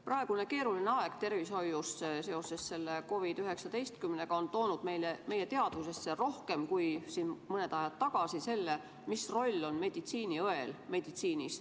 Praegune keeruline aeg tervishoius seoses COVID-19-ga on toonud meie teadvusesse rohkem kui oli mõni aeg tagasi selle, mis roll on meditsiiniõel.